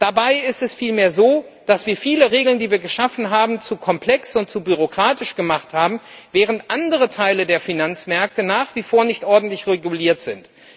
Dabei ist es vielmehr so, dass wir viele Regeln, die wir geschaffen haben, zu komplex und zu bürokratisch gemacht haben, während andere Teile der Finanzmärkte nach wie vor nicht ordentlich reguliert sind.